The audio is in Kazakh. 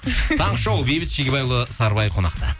таңғы шоу бейбіт шегебайұлы сарыбай қонақта